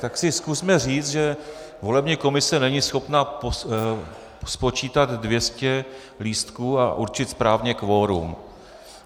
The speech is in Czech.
Tak si zkusme říct, že volební komise není schopna spočítat 200 lístků a určit správně kvorum.